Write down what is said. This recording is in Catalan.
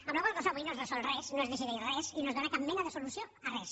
amb la qual cosa avui no es resol res no es decideix res i no es dóna cap mena de solució a res